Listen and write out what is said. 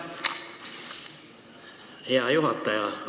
Hea juhataja!